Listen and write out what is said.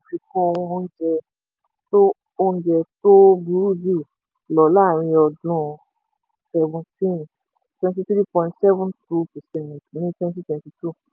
owó oúnjẹ tó oúnjẹ tó burú jù lọ láàárín ọdún seventeen twenty point seven two percent ní twenty twenty two